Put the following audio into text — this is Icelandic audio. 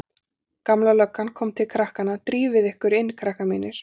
Gamla löggan kom til krakkanna: Drífið þið ykkur inn krakkar mínir.